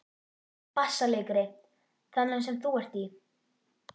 BASSALEIKARI: Þennan sem þú ert í?